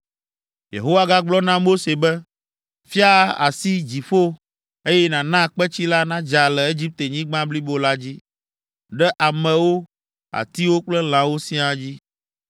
Yehowa gagblɔ na Mose be, “Fia asi dziƒo, eye nàna kpetsi la nadza le Egiptenyigba blibo la dzi, ɖe amewo, atiwo kple lãwo siaa dzi.”